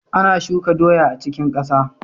Ana shuka doya a cikin kasa.